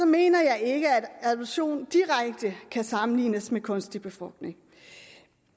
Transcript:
mener jeg ikke at adoption direkte kan sammenlignes med kunstig befrugtning